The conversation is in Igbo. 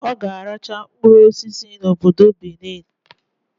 Oga arachakwa mkpụrụ osisi na obodo Benin